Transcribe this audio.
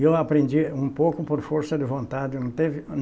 E eu aprendi um pouco por força de vontade, não teve.